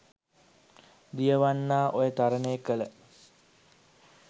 දියවන්නා ඔය තරණය කළ